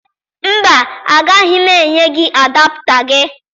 Mba, agaghị m enye gị adapụta gị